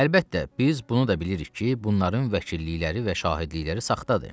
Əlbəttə, biz bunu da bilirik ki, bunların vəkillikləri və şahidlikləri saxtadır.